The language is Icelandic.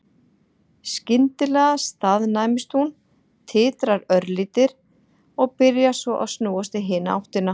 Skyndilega staðnæmist hún, titrar örlítið og byrjar svo að snúast í hina áttina.